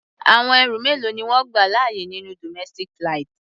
Àwọn ẹrù mélòó ni wọ́n gbà láàyè nínú domestic flight?